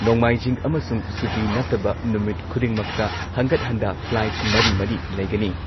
ꯍꯟꯒꯠ-ꯍꯟꯗꯥ, ꯃꯔꯤ-ꯃꯔꯤ